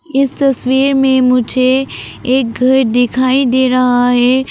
इस तस्वीर में मुझे एक घर दिखाई दे रहा है।